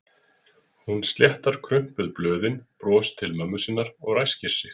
Hún sléttar krumpuð blöðin, brosir til mömmu sinnar og ræskir sig.